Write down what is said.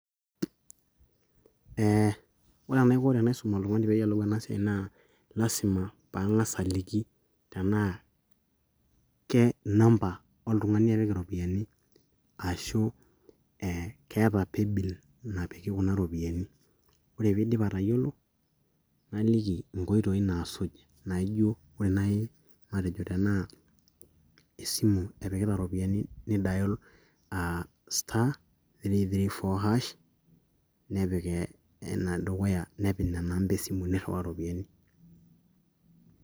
eh, ore enaiko tenaisum oltung'ani peeyioloun enasiai naa lasima pang'as aliki tenaa ke namba oltung'ani epik iropiyani ashu keeta paybill napiki kuna ropiyiani ore piidip atayiolo naliki inkoitoi naasuj naijo ore naaji matejo tenaa esimu epikita iropiyiani nidayol *334# nipik enedukuya nepik nena amba esimu nirriwaa iropiyiani.